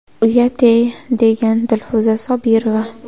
Uyat-ey!”, degan Dilfuza Sobirova.